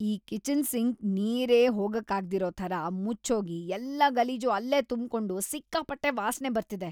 ಈ kitchen sink ನೀರೇ ಹೋಗಕ್ಕಾಗ್ದಿರೋ ಥರ ಮುಚ್ಹೋಗಿ ಎಲ್ಲ ಗಲೀಜೂ ಅಲ್ಲೇ ತುಂಬ್ಕೊಂಡು ಸಿಕ್ಕಾಪಟ್ಟೆ ವಾಸ್ನೆ ಬರ್ತಿದೆ.